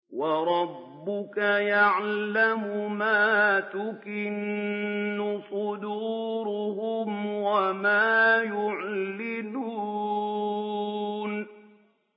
وَرَبُّكَ يَعْلَمُ مَا تُكِنُّ صُدُورُهُمْ وَمَا يُعْلِنُونَ